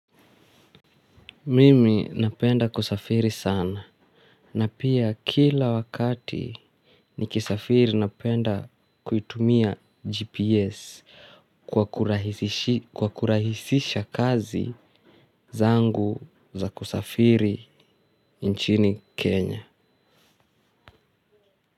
Mimi napenda kusafiri sana na pia kila wakati nikisafiri napenda kuitumia GPS kwa kurahisisha kazi zangu za kusafiri nchini Kenya.